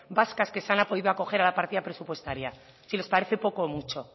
vascas que se han podido acoger a la partida presupuestaria si les parece poco o mucho